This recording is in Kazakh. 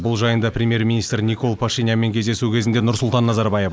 бұл жайында премьер министрі никол пашинянмен кездесу кезінде нұрсұлтан назарбаев айтты